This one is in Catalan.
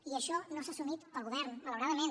i això no s’ha assumit pel govern malauradament